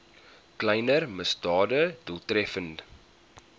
kleiner misdade doeltreffend